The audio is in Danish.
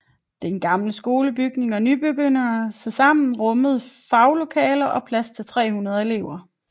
Den gamle skolebygning og nybygningerne tilsammen rummede faglokaler og plads til 300 elever